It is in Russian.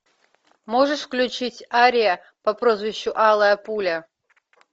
можешь включить ария по прозвищу алая пуля